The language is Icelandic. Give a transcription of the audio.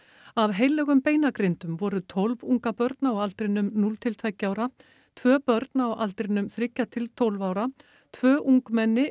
af heillegum beinagrindum voru tólf ungabörn á aldrinum núll til tveggja ára tvö börn á aldrinum þriggja til tólf ára tvö ungmenni